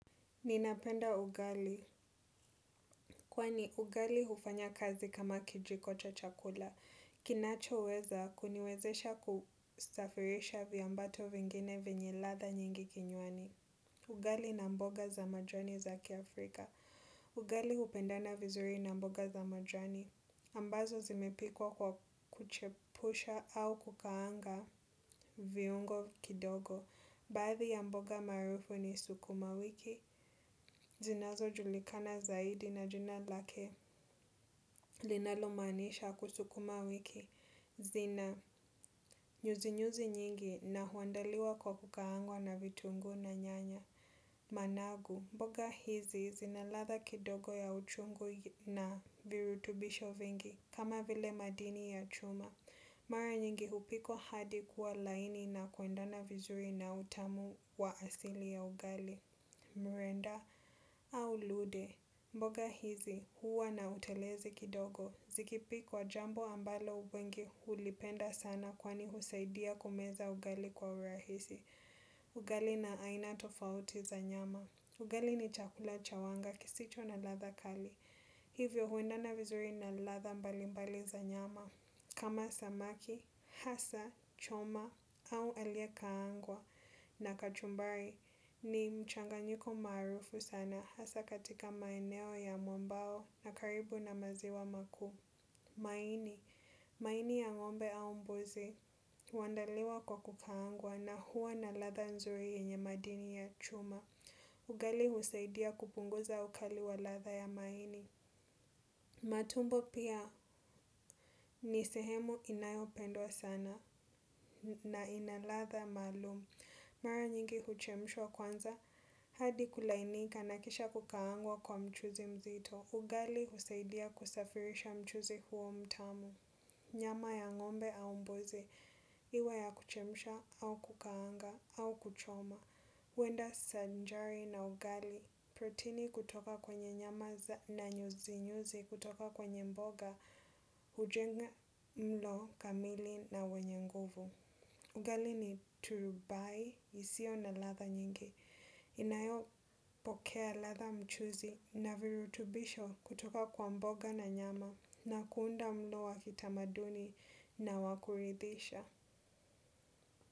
Ninapenda ugali, kwani ugali hufanya kazi kama kijiko cha chakula. Kinacho weza, kuniwezesha kustafirisha viambato vingine vinye latha nyingi kinywani. Ugali na mboga za majani zaki Afrika. Ugali hupendana vizuri na mboga za majani. Ambazo zimepikwa kwa kuchepusha au kukaanga viungo kidogo. Baadhi ya mboga marufu ni sukuma wiki, zinazo julikana zaidi na jina lake linalomanisha kusukuma wiki. Zina, nyuzi nyuzi nyingi na huandaliwa kwa kukaangwa na vitungu na nyanya. Managu, mboga hizi zinalatha kidogo ya uchungu na virutubisho vingi kama vile madini ya chuma. Mara nyingi hupikwa hadi kuwa laini na kuendana vizuri na utamu wa asili ya ugali. Murenda au lude. Mboga hizi huwa na utelezi kidogo. Zikipikwa jambo ambalo ubengi hulipenda sana kwani husaidia kumeza ugali kwa urahisi. Ugali na aina tofauti za nyama. Ugali ni chakula cha wanga kisicho na latha kali. Hivyo huendana vizuri na latha mbali mbali za nyama. Kama samaki, hasa, choma au aliye kaangwa na kachumbari ni mchanganyiko marufu sana hasa katika maeneo ya mwambao na karibu na maziwa makuu. Maini, maini ya ngombe au mbuzi, huandaliwa kwa kukaangwa na huwa na latha nzuri yenye madini ya chuma. Ugali husaidia kupunguza ukali wa latha ya maini. Matumbo pia nisehemu inayopendwa sana na inalatha maalum. Mara nyingi huchemshwa kwanza hadi kulainika nakisha kukaangwa kwa mchuzi mzito. Ugali husaidia kusafirisha mchuzi huo mtamu. Nyama ya ngombe au mbuze, iwe ya kuchemusha, au kukaanga, au kuchoma, wenda sanjari na ugali, protini kutoka kwenye nyama na nyuzinyuzi, kutoka kwenye mboga, hujenga mlo kamili na wenye nguvu. Ugali ni turubai hisio na latha nyingi, inayo pokea latha mchuzi na virutubisho kutoka kwa mboga na nyama na kuunda mlo wa kitamaduni na wakurithisha.